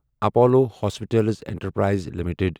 Apollo hospitals enterprise limited